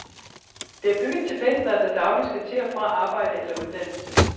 Det er bygget til pendlere, der dagligt skal til og fra arbejde eller uddannelse.